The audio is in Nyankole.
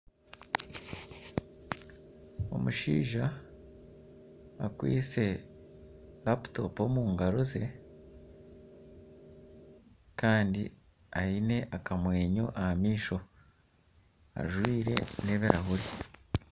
omushaija akwitse laputopu omu ngaaro ze kandi aine akamwenyo aha maisho ajwire n'ebirahure